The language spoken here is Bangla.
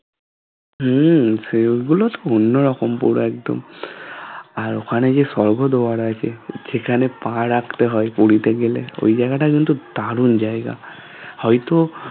হম সেই গুলো তো অন্য রকম পুরো একদম আর ওখানে যে স্বর্গদ্বার আছে সেখানে পা রাখতে হয় পুরীতে গেলে ওই জায়গাটা কিন্তু দারুন জায়গা হয়তো